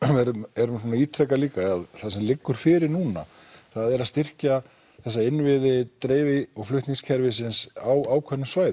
erum erum að ítreka líka er að það sem liggur fyrir núna er að styrkja þessa innviði dreifi og flutningskerfisins á ákveðnum svæðum